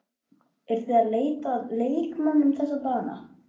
Eruð þið að leita að leikmönnum þessa dagana?